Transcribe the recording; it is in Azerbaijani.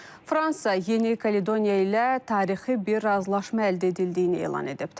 Fransa Yeni Kaledoniya ilə tarixi bir razılaşma əldə edildiyini elan edib.